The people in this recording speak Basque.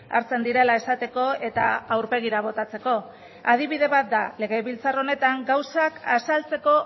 hartzen direla esateko eta aurpegira botatzeko adibide bat da legebiltzar honetan gauzak azaltzeko